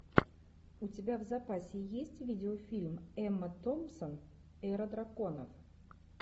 у тебя в запасе есть видеофильм эмма томпсон эра драконов